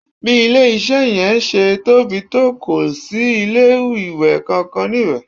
Bí ilé-iṣẹ́ yẹn ṣe tóbi tó kò sí ilé-ìwẹ̀ kankan níbẹ̀